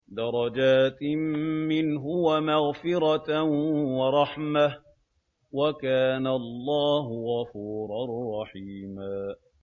دَرَجَاتٍ مِّنْهُ وَمَغْفِرَةً وَرَحْمَةً ۚ وَكَانَ اللَّهُ غَفُورًا رَّحِيمًا